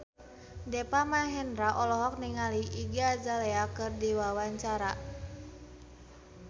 Deva Mahendra olohok ningali Iggy Azalea keur diwawancara